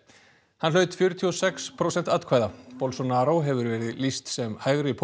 hann hlaut fjörutíu og sex prósent atkvæða bolsonaro hefur verið lýst sem